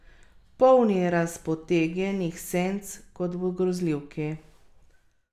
Prva naklada Inferna jih ima namreč pet milijonov.